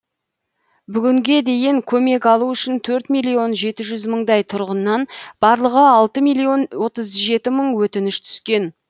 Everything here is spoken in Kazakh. бүгінге дейін көмек алу үшін төрт миллион жеті жүз мыңдай тұрғыннан барлығы алты миллион отыз жеті мың өтініш түскен